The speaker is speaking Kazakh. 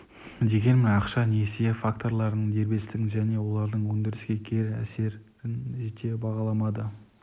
дегенмен ақша несие факторларының дербестігін және олардың өндіріске кері әсерін жете бағаламады